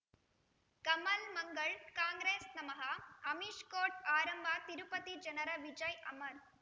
ಕಮಲ್ ಮಂಗಳ್ ಕಾಂಗ್ರೆಸ್ ನಮಃ ಅಮಿಷ್ ಕೋರ್ಟ್ ಆರಂಭ ತಿರುಪತಿ ಜನರ ವಿಜಯ್ ಅಮರ್